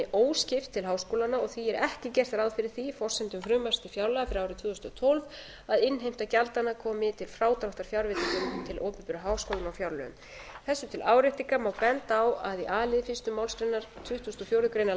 óskipt til háskólanna og því er ekki gert ráð fyrir því í forsendum frumvarps til fjárlaga fyrir árið tvö þúsund og tólf að innheimta gjaldanna komi til frádráttar fjárveitingum til opinberu háskólanna á fjárlögum þessu til áréttingar má benda á að í a lið ein málsgrein tuttugustu og fjórðu grein